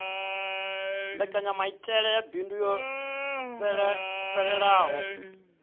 mbekanyamaitele ya bindu yo fhelelaho